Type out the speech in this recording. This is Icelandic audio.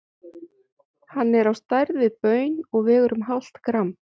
Hann er á stærð við baun og vegur um hálft gramm.